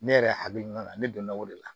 Ne yɛrɛ hakilina la ne donna o de la